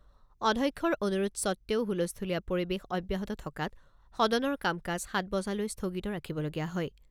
অধ্যক্ষৰ অনুৰোধ সত্বেও হুলস্থূলীয়া পৰিবেশ অব্যাহত থকাত সদনৰ কাম কাজ সাত বজালৈ স্থগিত ৰাখিবলগীয়া হয়।